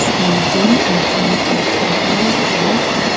planting in front of an old hut.